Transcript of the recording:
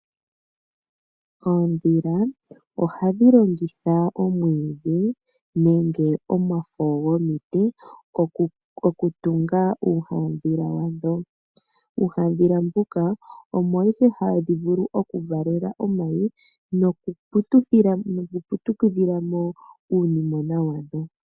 Oodhila ohadhi longitha omwiidhi nenge omafo gomiiti okutunga iihadhila yadho. Iihadhila mbika omo moka hadhi vulu okuvalela mo omayi nokuputudhila mo uudhilona (uunimona)wadho.